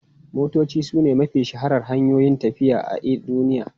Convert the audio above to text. Motoci sune mafi shaharar hanyoyin tafiya i a duniya.